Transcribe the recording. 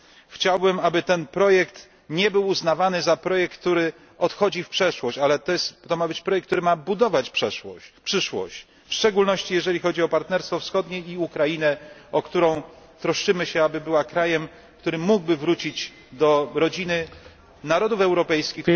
Chciałbym, aby ten projekt nie był uznawany za projekt, który odchodzi w przeszłość, ale to ma być projekt, który ma budować przyszłość, w szczególności jeżeli chodzi o partnerstwo wschodnie i Ukrainę, o którą troszczymy się, aby była krajem, który mógłby wrócić do rodziny narodów europejskich